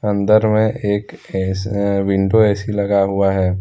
अंदर में एक ऐसा विंडो ए_सी लगा हुआ है।